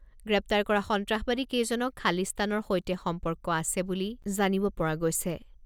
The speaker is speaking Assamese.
গ্ৰেপ্তাৰ কৰা সন্ত্ৰাসবাদীকেইজনক খালিস্তানৰ সৈতে সম্পৰ্ক আছে বুলি জানিব পৰা গৈছে।